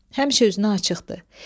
Həmişə özünə açıqdır.